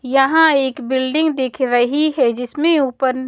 यहाँ एक बिल्डिंग दिख रही है जिसमें ऊपर--